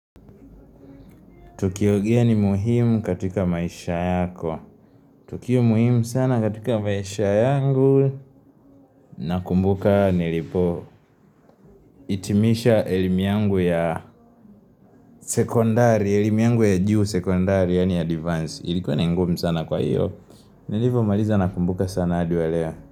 Tukiongea ni muhimu katika maisha yako Tukio muhimu sana katika maisha yangu Nakumbuka nilipo hitimisha elimu yangu ya sekondari elimu yangu ya juu sekondari yani advanced Ilikuwa ni ngumu sana kwa hiyo Nilivo maliza nakumbuka sana hadi waleo.